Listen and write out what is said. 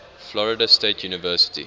florida state university